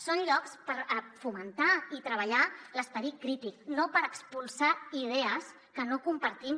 són llocs per fomentar i treballar l’esperit crític no per expulsar idees que no compartim